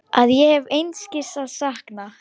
Að ég hef einskis að sakna.